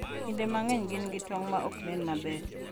Kinde mang’eny gin gi tong’ ma ok nen maber,